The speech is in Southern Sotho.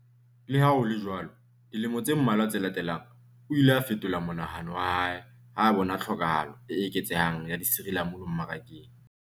Le ha ho le jwalo, dilemo tse mmalwa tse latelang, o ile a fetola monahano wa hae ha a bona tlhokahalo e eketsehang ya disirilamunu marakeng.